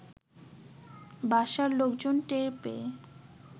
বাসার লোকজন টের পেয়ে